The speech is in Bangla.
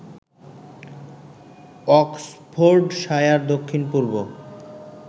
অক্সফোর্ডশায়ার দক্ষিণ পূর্ব